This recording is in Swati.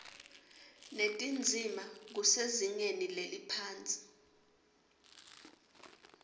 netindzima kusezingeni leliphansi